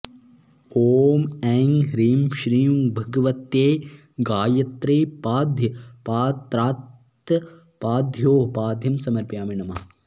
ॐ ऐं ह्रीं श्रीं भगवत्यै गायत्र्यै पाद्यपात्रात्पादयोः पाद्यं समर्पयामि नमः